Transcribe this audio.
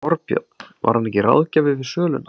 Þorbjörn: Var hann ekki ráðgjafi við söluna?